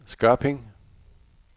Skørping